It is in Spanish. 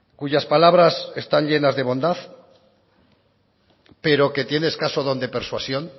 cuyas palabras están llenas de bondad pero que tiene escaso don de persuasión